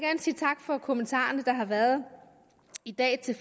sige tak for kommentarerne der har været i dag til